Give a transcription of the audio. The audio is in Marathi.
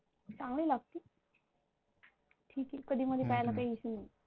चांगली लागते ठीक हे कधी मधी प्यायला काही Issue नाही.